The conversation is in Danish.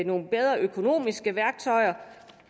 nogle bedre økonomiske værktøjer